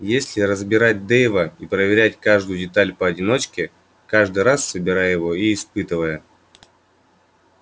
если разбирать дейва и проверять каждую деталь поодиночке каждый раз собирая его и испытывая